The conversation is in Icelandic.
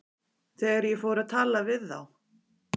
Þegar ég fór að tala við þá.